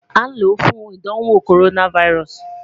a n lọ fun idanwo coronavirus